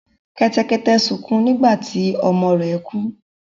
Kẹ́tẹ́kẹ́tẹ́ sukún nígbà tí ọmọ rẹ̀ kú.